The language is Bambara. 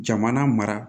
Jamana mara